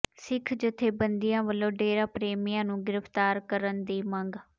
ਸਿੱਖ ਜਥੇਬੰਦੀਆਂ ਵੱਲੋਂ ਡੇਰਾ ਪ੍ਰੇਮੀਆਂ ਨੂੰ ਗ੍ਰਿਫ਼ਤਾਰ ਕਰਨ ਦੀ ਮੰਗ